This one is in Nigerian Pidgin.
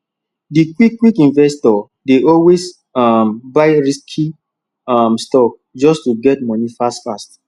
di quick-quick investor dey always um buy risky um stock just to get money fast-fast